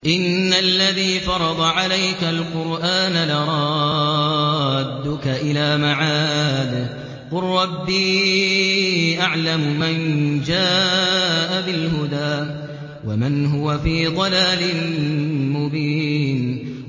إِنَّ الَّذِي فَرَضَ عَلَيْكَ الْقُرْآنَ لَرَادُّكَ إِلَىٰ مَعَادٍ ۚ قُل رَّبِّي أَعْلَمُ مَن جَاءَ بِالْهُدَىٰ وَمَنْ هُوَ فِي ضَلَالٍ مُّبِينٍ